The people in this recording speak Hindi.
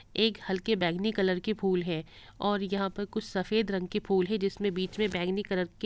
एक हल्के बैगनी कलर के फुल हैं और यहाँ पर कुछ सफ़ेद रंग के फुल है जिसमें बीच में बैगनी कलर के --